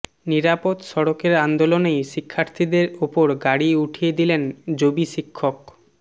নিরাপদ সড়কের আন্দোলনেই শিক্ষার্থীদের ওপর গাড়ি উঠিয়ে দিলেন জবি শিক্ষক